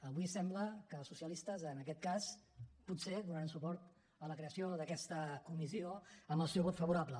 avui sembla que els socialistes en aquest cas potser donaran suport a la creació d’aquesta comissió amb el seu vot favorable